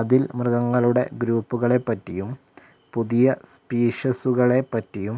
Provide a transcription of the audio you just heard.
അതിൽ മൃഗങ്ങളുടെ ഗ്രൂപ്പുകളെപ്പറ്റിയും പുതിയ സ്പീഷീസുകളെപ്പറ്റിയും